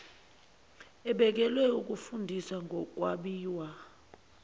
ebekelwe ukufundisa ngokwabiwa